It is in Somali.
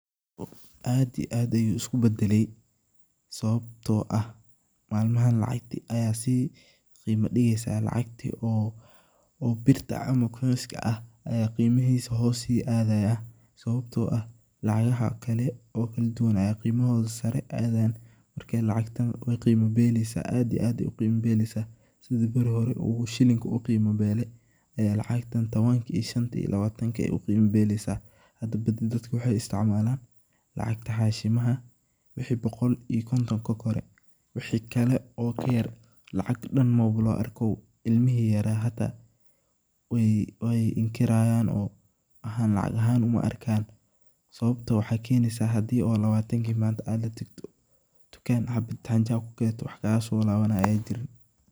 Horta aad iyo aad ayu isku badalay, sabto ah malmahan lacagti ayaa si qima digeysaa lacagti oo birta ah ama koinska ah aya qimihisa hoos si aadayaa sababto ah lacagaha kale oo kaladuwan aya qimohoda sare aadayan, marka lacagtan wey qimo beleysa, aad iyo aad ayey u qimo beleysa sidha bari hore u shilinka uu qimo bele ayey lacagtan tabanka shanta iyo tobanka ayey u qimo beleysa , hada dadka waxey isticmalan lacagta hashimaha wixi boqol iyo konton kakore, wixi kale oo ka yar lacag dhan maba loo arkabo, cilmihi yara hata wey inkirayaan oo waxan lacag ahan uma arkaan sababto waxaa kenesa hadi oo lawatanki manta aa latagto dukaan habad hanjo aa kugadato wax kaga so labanayaa ayan jirin.